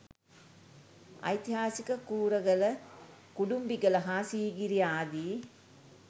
ඓතිහාසික කූරගල, කුටුම්බිගල හා සීගිරිය ආදි